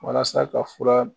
Walasa ka fura